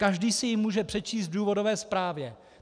Každý si ji může přečíst v důvodové zprávě.